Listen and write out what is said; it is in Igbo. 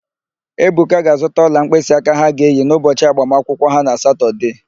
Ebuka ga-azụta ọla mkpịsịaka ha ga-eyi n'ụbọchị agbamakwụkwọ ha na Satọdee.